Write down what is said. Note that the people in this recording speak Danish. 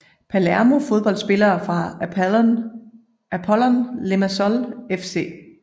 Palermo Fodboldspillere fra Apollon Limassol FC